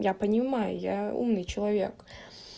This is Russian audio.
я понимаю я умный человек